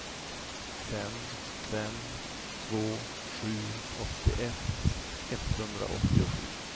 fem fem två sju åttioett etthundraåttiosju